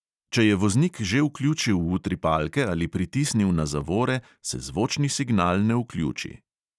Če je voznik že vključil utripalke ali pritisnil na zavore, se zvočni signal ne vključi.